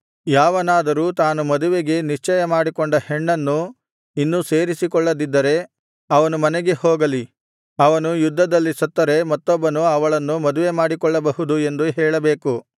ಯಾವನಾದರೂ ತಾನು ಮದುವೆಗೆ ನಿಶ್ಚಯ ಮಾಡಿಕೊಂಡ ಹೆಣ್ಣನ್ನು ಇನ್ನೂ ಸೇರಿಸಿಕೊಳ್ಳದಿದ್ದರೆ ಅವನು ಮನೆಗೆ ಹೋಗಲಿ ಅವನು ಯುದ್ಧದಲ್ಲಿ ಸತ್ತರೆ ಮತ್ತೊಬ್ಬನು ಅವಳನ್ನು ಮದುವೆ ಮಾಡಿಕೊಳ್ಳಬಹುದು ಎಂದು ಹೇಳಬೇಕು